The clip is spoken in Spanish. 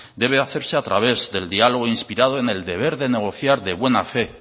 debe hacerse a través del diálogo inspirado en el deber de negociar de buena fe